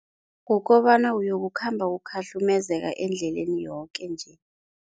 Kukobana uyokukhamba ukhahlumezeka endleleni yoke-nje.